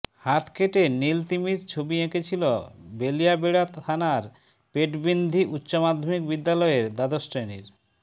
হাত কেটে নীল তিমির ছবি এঁকেছিল বেলিয়াবেড়া থানার পেটবিন্ধি উচ্চমাধ্যমিক বিদ্যালয়ের দ্বাদশ শ্রেণির